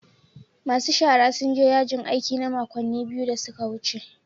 Masu shara sun je yajin aiki na makonni biyu da suka wuce.